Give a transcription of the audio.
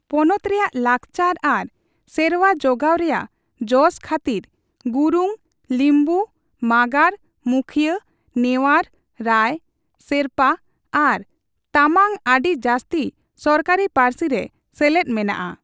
ᱯᱚᱱᱚᱛ ᱨᱮᱭᱟᱜ ᱞᱟᱠᱪᱟᱨ ᱟᱨ ᱥᱮᱨᱣᱟ ᱡᱚᱜᱟᱣ ᱨᱮᱭᱟᱜ ᱡᱚᱥ ᱠᱷᱟᱹᱛᱤᱨ ᱜᱩᱨᱩᱝ, ᱞᱤᱢᱵᱩ, ᱢᱟᱜᱟᱨ, ᱢᱩᱠᱷᱤᱭᱟᱹ, ᱱᱮᱣᱟᱨ, ᱨᱟᱭ, ᱥᱮᱨᱯᱟ, ᱟᱨ ᱛᱟᱢᱟᱝ ᱟᱰᱤ ᱡᱟᱥᱛᱤ ᱥᱚᱨᱠᱟᱨᱤ ᱯᱟᱹᱨᱥᱤ ᱨᱮ ᱥᱮᱞᱮᱫ ᱢᱮᱱᱟᱜᱼᱟ ᱾